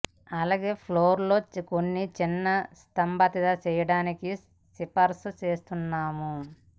అలాగే ఫ్లోర్ లో కొన్ని చిన్న స్తబ్దత చేయడానికి సిఫార్సు చేస్తున్నాము